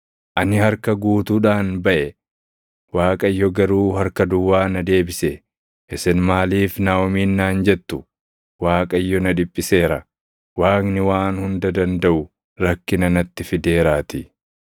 Ani harka guutuudhaan baʼe; Waaqayyo garuu harka duwwaa na deebise. Isin maaliif Naaʼomiin naan jettu? Waaqayyo na dhiphiseera; Waaqni Waan Hunda Dandaʼu rakkina natti fideeraatii.”